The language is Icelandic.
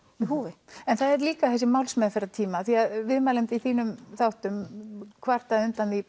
húfi en það er líka þessi málsmeðferðartími af því að viðmælandi í þínum þáttum kvartaði undan því